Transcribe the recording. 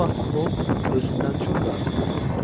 Bu vaxt o, özündən çox razı görünürdü.